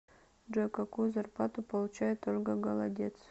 джой какую зарплату получает ольга голодец